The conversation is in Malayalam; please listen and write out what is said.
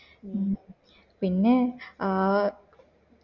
മ്